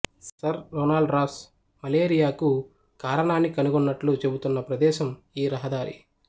sir Ronald Ross మలేరియాకు కారణాన్ని కనుగొన్నట్లు చెబుతున్న ప్రదేశం ఈ రహదారి